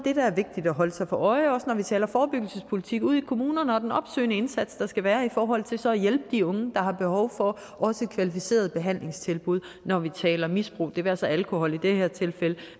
af at holde sig for øje også når vi taler forebyggelsespolitik ude i kommunerne og den opsøgende indsats der skal være i forhold til så at hjælpe de unge der har behov for kvalificerede behandlingstilbud når vi taler misbrug det være sig alkohol i det her tilfælde